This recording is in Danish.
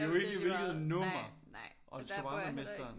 Ja ja men jo ikke i hvilket nummer og Shawarmamesteren